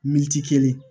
Militi kelen